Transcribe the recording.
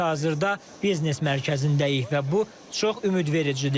Biz hazırda biznes mərkəzindəyik və bu çox ümidvericidir.